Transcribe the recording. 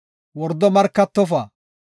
“Wordo markatofa.